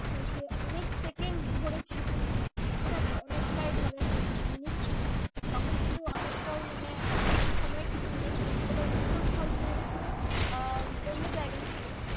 যে অনেক second ধরে ছিল। ঠিক আছে অনেকটাই ধরে মানে minutes ছিল। তখন কিন্তু অনেকটাই মানে অনেকটা সময় কিন্তু নিয়েছিল কিন্তু ওটা উৎসস্থল যেহেতু আহ অন্য জায়গায় ছিল